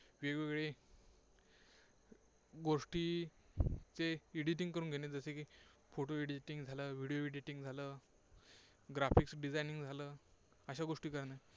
वेगवेगळे गोष्टी ते editing करून घेणे जसे की photo editing झालं video editing झालं. graphics designing झालं अशा गोष्टी करणे.